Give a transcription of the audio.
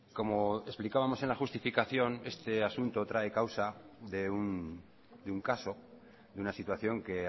como explicábamos en la justificación este asunto trae causa de un caso de una situación que